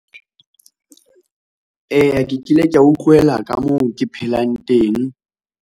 Eya ke kile kea utlwela ka moo ke phelang teng.